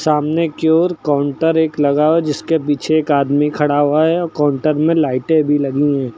सामने की ओर काउंटर एक लगा हुआ है जिसके पीछे एक आदमी खड़ा हुआ है और काउंटर में लाइटे भी लगी हैं।